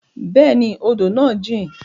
Bẹẹni, odo naa jin